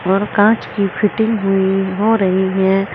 और कांच की फिटिंग हुई हो रही है।